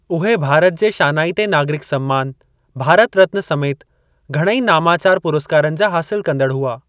उहे भारत जे शानाइते नागरिक सम्मान भारत रत्न समेति घणेई नामाचारु पुरस्कारनि जा हासिलु कंदड़ु हुआ।